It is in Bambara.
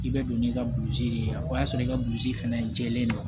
I bɛ don n'i ka burusi de ye o y'a sɔrɔ i ka burusi fɛnɛ jɛlen don